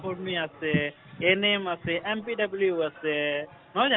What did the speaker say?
কৰ্মী আছে NM আছে, MPW আছে হয় নে নাই